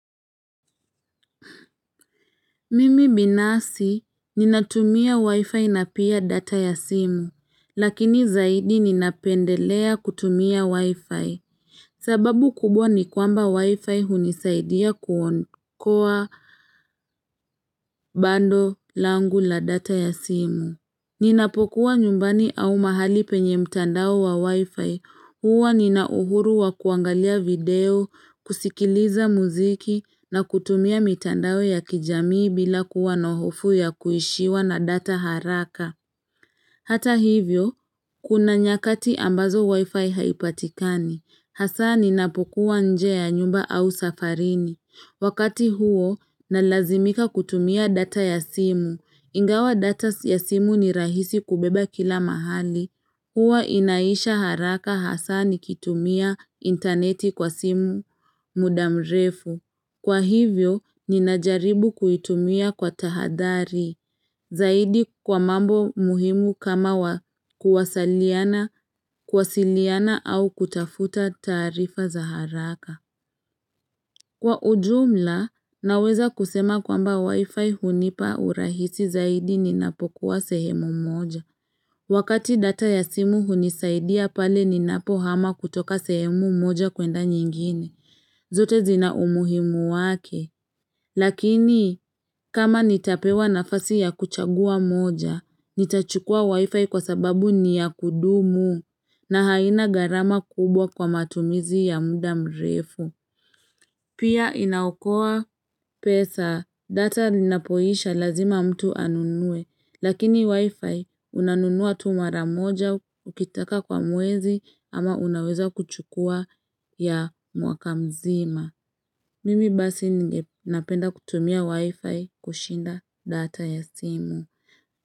Mimi binafsi ninatumia wifi na pia data ya simu, lakini zaidi ninapendelea kutumia wifi, sababu kubwa ni kwamba wifi hunisaidia kuokoa bando langu la data ya simu. Ninapokuwa nyumbani au mahali penye mtandao wa wifi, huwa ninauhuru wa kuangalia video, kusikiliza muziki na kutumia mtandao ya kijamii bila kuwa na hofu ya kuishiwa na data haraka Hata hivyo, kuna nyakati ambazo wifi haipatikani, hasa ninapokuwa nje ya nyumba au safarini wakati huo, nalazimika kutumia data ya simu. Ingawa data ya simu ni rahisi kubeba kila mahali. Huwa inaisha haraka hasa nikitumia interneti kwa simu muda mrefu. Kwa hivyo, ninajaribu kuitumia kwa tahadhari, zaidi kwa mambo muhimu kama wa kuwasaliana, kuwasiliana au kutafuta taarifa za haraka. Kwa ujumla, naweza kusema kwamba wifi hunipa urahisi zaidi ninapokuwa sehemu moja. Wakati data ya simu hunisaidia pale ninapo hama kutoka sehemu moja kuenda nyingine, zote zina umuhimu wake. Lakini, kama nitapewa nafasi ya kuchagua moja, nitachukua wifi kwa sababu ni ya kudumu na haina garama kubwa kwa matumizi ya muda mrefu. Pia inaokoa pesa data linapoisha lazima mtu anunue, lakini wifi unanunua tu mara moja ukitaka kwa mwezi ama unaweza kuchukua ya mwaka mzima. Mimi basi ninge napenda kutumia wifi kushinda data ya simu.